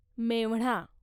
मेव्हणा